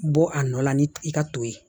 Bɔ a nɔ la ni i ka to ye